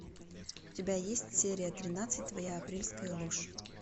у тебя есть серия тринадцать твоя апрельская ложь